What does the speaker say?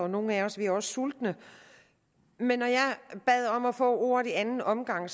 nogle af os er også sultne men når jeg bad om at få ordet i anden omgang